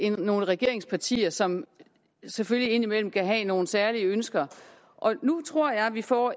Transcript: nogle regeringspartier som selvfølgelig indimellem kan have nogle særlige ønsker og nu tror jeg vi får